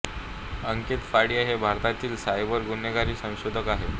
अंकित फाडिया हे भारतातील सायबर गुन्हेगारी संशोधक आहेत